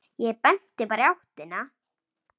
Ég benti bara í áttina.